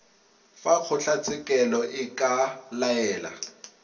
fa kgotlatshekelo e ka laela